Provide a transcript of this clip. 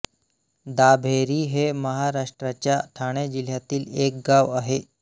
दाभेरी हे महाराष्ट्राच्या ठाणे जिल्ह्यातील एक गांव आहे